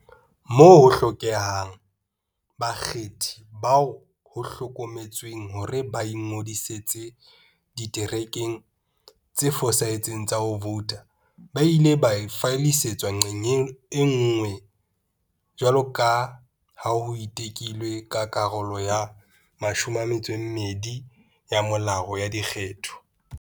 Moo ho hlokehang, bakgethi bao ho hlokometsweng hore ba ingodisitse diterekeng tse fosahetseng tsa ho vouta ba ile ba fallisetswa nqe nngwe, jwaloka ha ho tekilwe ke Karolo ya 12 ya Molao wa Dikgetho.